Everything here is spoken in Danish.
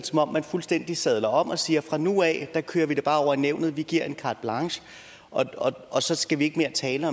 som om man fuldstændig sadler om og siger at fra nu af kører vi det bare over nævnet vi giver carte blanche og så skal vi ikke tale